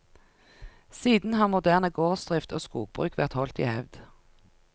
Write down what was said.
Siden har moderne gårdsdrift og skogbruk vært holdt i hevd.